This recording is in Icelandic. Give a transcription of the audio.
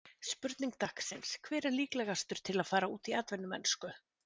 Spurning dagsins: Hver er líklegastur til að fara út í atvinnumennsku?